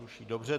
Ruší, dobře.